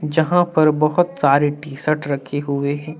जहां पर बहुत सारे टीशर्ट रखे हुए हैं।